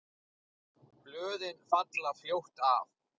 Blöðin falla fljótt af.